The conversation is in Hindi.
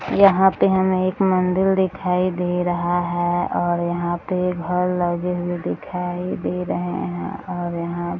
यहाँ पे हमे एक मंदिर दिखाई दे रहा है और यहाँ पे घर लगे हुए दिखाई दे रहे हैं और यहाँ --